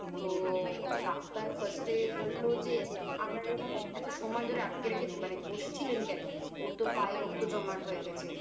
তো doctor First এ বললো যে আপনারা এরকম এতো সময় ধরে আটকে রেখে মানে বসেছিলেন কেন ওরতো পায়ে রক্ত জমাট হয়ে গেছে